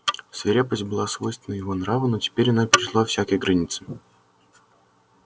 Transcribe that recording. свирепость была свойственна его нраву но теперь она перешла всякие границы